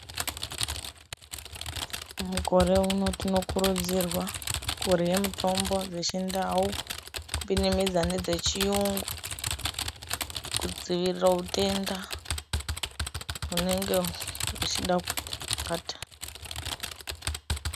Mukore uno tinokurudzirwa kurye mitombo dzechindau. Kupinamidza nedzechiyungu kudzivirira hutenda hunenge huchida kuti bata.